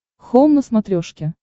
хоум на смотрешке